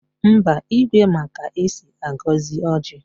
Mba, Igwe ma ka esi agọzi ọjị